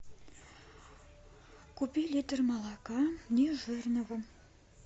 купи литр молока нежирного